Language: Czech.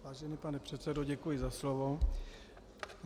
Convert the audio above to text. Vážený pane předsedo, děkuji za slovo.